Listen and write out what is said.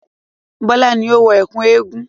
Bọ́lá ni ó wọ ẹ̀kú eégun.